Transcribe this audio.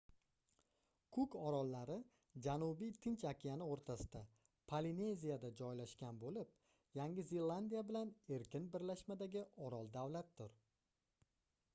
kuk orollari janubiy tinch okeani oʻrtasida polineziyada joylashgan boʻlib yangi zelandiya bilan erkin birlashmadagi orol davlatdir